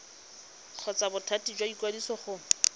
kgotsa bothati jwa ikwadiso go